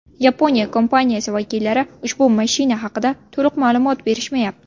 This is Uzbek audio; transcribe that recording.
Yaponiya kompaniyasi vakillari ushbu mashina haqida to‘liq ma’lumot berishmayapti.